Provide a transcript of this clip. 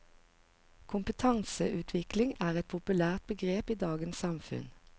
Kompetanseutvikling er et populært begrep i dagens samfunn.